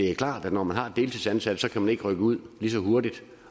det klart at når man har deltidsansatte kan man ikke rykke ud lige så hurtigt